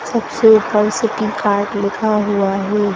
सबसे ऊपर city card लिखा हुआ है।